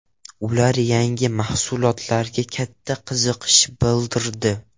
Ular yangi mahsulotga katta qiziqish bildirdi.